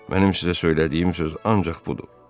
Mənim sizə söylədiyim söz ancaq budur.